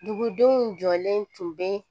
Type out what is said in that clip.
Dugudenw jɔlen tun bɛ